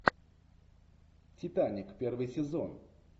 титаник первый сезон